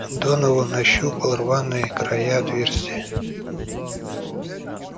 донован ощупал рваные края отверстия